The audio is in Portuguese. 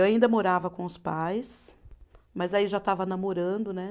Eu ainda morava com os pais, mas aí eu já estava namorando, né?